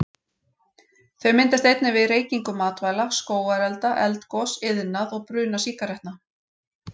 Þau myndast einnig við reykingu matvæla, skógarelda, eldgos, iðnað og bruna sígarettna.